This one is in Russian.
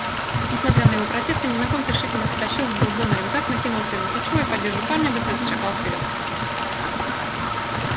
несмотря на его протесты незнакомец решительно стащил с бурбона рюкзак накинул себе на плечо и поддерживая парня быстро зашагал вперёд